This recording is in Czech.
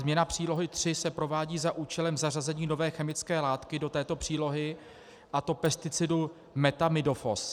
Změna Přílohy III se provádí za účelem zařazení nové chemické látky do této přílohy, a to pesticidu methamidofos.